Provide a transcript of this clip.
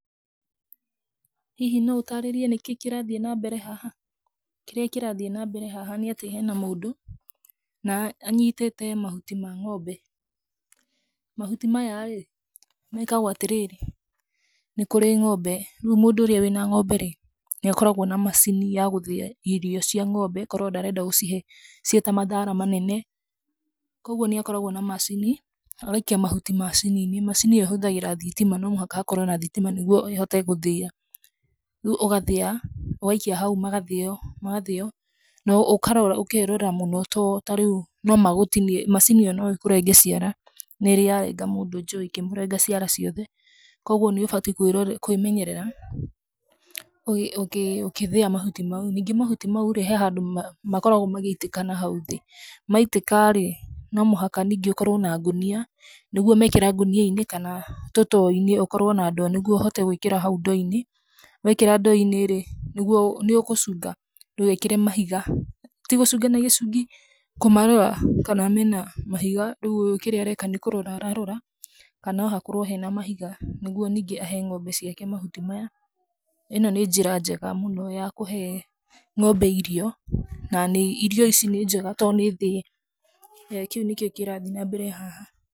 Hihi no ũtaarĩrie nĩkĩĩ kĩrathiĩ na mbere haha? Kĩrĩa kĩrathi nambere haha nĩ atĩ hena mũndũ, na anyitĩte mahuti ma ng'ombe. Mahuti maya rĩ, mekagwo atĩ rĩrĩ, nĩ kũrĩ ng'ombe. Rĩu mũndũ ũrĩa wĩna ng'ombe rĩ, nĩ akoragwo na macini ya gũthĩa irio cia ng'ombe korwo ndarenda gũcihe ciĩ ta mathaara manene. Kwoguo nĩ akoragwo na macini, agaikia mahuti macini-inĩ. Macini ĩyo ĩhũthagira thitima, no mũhaka hakorwo na thitima nĩguo ĩhote gũthĩa. Rĩu ũgathĩa, ũgaikia hau magathĩo magathĩo, na ũkarora, ũkeerora mũno to ta rĩu no magũtinie macini ĩyo no ĩkũrenge ciara, nĩ ĩrĩ ya renga mũndũ njũĩ, ĩkĩmũrenga ciara ciothe, kwoguo nĩ ũbatiĩ kwĩrora, kwĩmenyerera ũkĩthĩa mahuti mau. Ningĩ mahuti mau rĩ, he handũ makoragwo magĩitĩka nahau thĩ. Maitĩka rĩ, no mũhaka ningĩ ũkorwo na ngũnia nĩguo meekĩra ngũnia-inĩ kana tũtoo-inĩ, ũkorwo na ndoo nĩguo ũhote gũĩkĩra hau ndoo-inĩ. Weekĩra ndoo-inĩ, nĩguo nĩ ũkũcunga ndũgeekĩre mahiga. Ti gũcunga na gĩcungi, kũmarora kana mena mahiga. Rĩu ũyũ kĩrĩa areka nĩ kũrora ararora ka no hakorwo hena mahiga, nĩguo ningĩ ahe ng'ombe ciake mahuti maya. ĩno nĩ njĩra njega mũno ya kũhe ng'ombe irio na irio ici nĩ njega to nĩ thĩe. Kĩu nĩkĩo kĩrathi nambere haha.